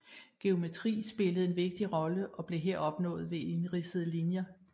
Geometri spillede en vigtig rolle og blev her opnået ved indridsede linjer